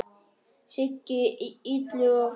Siggi Illuga og fleiri.